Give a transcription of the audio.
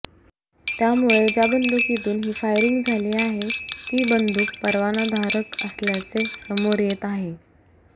त्यामुळे ज्या बंदुकीतून ही फायरिंग झाली आहे ती बंदुक परवानाधारक असल्याचे समोर येत आहे